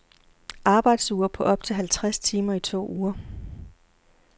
Arbejdsuger på op til halvtreds timer i to uger.